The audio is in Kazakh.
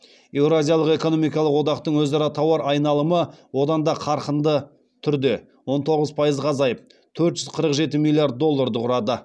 еуразиялық экономикалық одақтың өзара тауар айналымы одан да қарқынды түрде он тоғыз пайызға азайып төрт жүз қырық жеті миллиард долдарды құрады